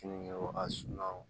Keninge a sunna o